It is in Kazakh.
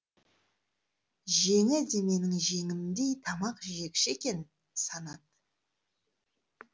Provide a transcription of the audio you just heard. жеңі де менің жеңімдей тамақ жегіш екен санат